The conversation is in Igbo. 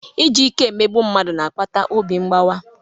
Iji ike emegbu mmadụ na-akpata obi mgbawa.